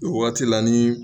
o wagati la ni